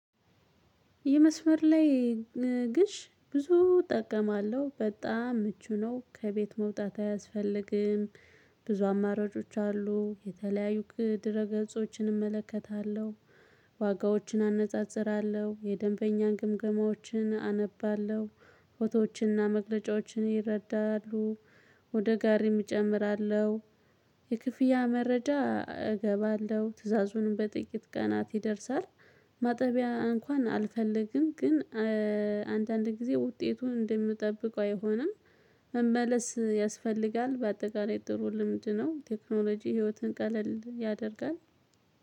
የመስመር ላይ ግዥ ብዙ እጠቀማለሁ በጣም ምቹ ነው ከቤት መውጣት አያስፈልግም። ብዙ አማራጮች አሉ የተለያዩ ድረ ገጾችን እመለከታለሁ። ዋጋዎችን አነጻጽራለሁ የደንበኛን ግምገማዎችን አነባለሁ። ፎቶዎችንና መግለጫዎችን ይረዳሉ። ወደ ጋሪም እጨምራለሁ። የክፍያ መረጃ እገባለሁ ትዕዛዙንም በጥቂት ቀናት ይደርሳል። ማጠቢያ እንኳን አልፈልግም ግን አንዳንድ ጊዜ ውጤቱን እንደምጠብቀው አይሆንም። መመለስ ያስፈልጋል በአጠቃላይ ጥሩ ልምድ ነው። ቴክኖሎጂ ህይወትን ቀለል ያደርጋል።